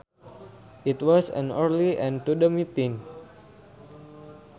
It was an early end to the meeting